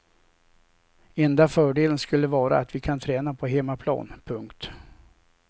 Enda fördelen skulle vara att vi kan träna på hemmaplan. punkt